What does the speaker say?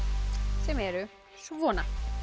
sem eru svona